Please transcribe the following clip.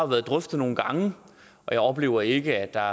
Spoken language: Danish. været drøftet nogle gange og jeg oplever ikke at der